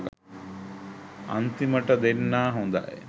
අන්තිමට දෙන්නා හොදයි